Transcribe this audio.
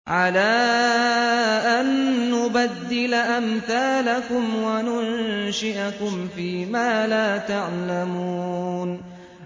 عَلَىٰ أَن نُّبَدِّلَ أَمْثَالَكُمْ وَنُنشِئَكُمْ فِي مَا لَا تَعْلَمُونَ